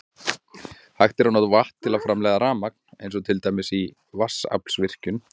Hægt er að nota vatn til að framleiða rafmagn eins og til dæmis í vatnsaflsvirkjun.